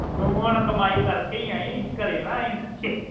ਤੂੰ ਹੁਣ ਕਮਾਈ ਕਰਕੇ ਈ ਆਈ ਘਰੇ ਨਾ ਆਈ ਓਹਨਾ ਚਿਰ